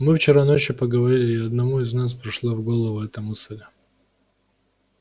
мы вчера ночью поговорили и одному из нас пришла в голову эта мысль